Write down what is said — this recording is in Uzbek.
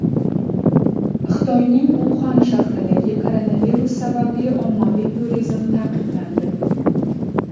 Xitoyning Uxan shahrida koronavirus sababli ommaviy turizm taqiqlandi.